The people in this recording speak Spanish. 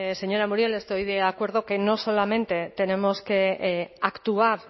señora muriel estoy de acuerdo que no solamente tenemos que actuar